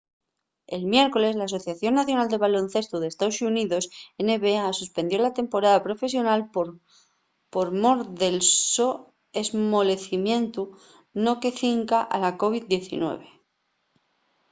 el miércoles l'asociación nacional de baloncestu d’estaos xuníos nba suspendió la temporada profesional por mor del so esmolecimientu no que cinca a la covid-19